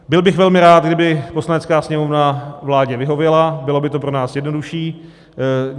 Byl bych velmi rád, kdyby Poslanecká sněmovna vládě vyhověla, bylo by to pro nás jednodušší.